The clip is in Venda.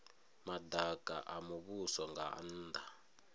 madaka a muvhuso nga nnda